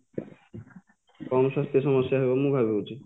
କ'ଣ ସ୍ୱାସ୍ଥ୍ୟ ସମସ୍ୟା ହବ ମୁଁ ଭାବୁଛି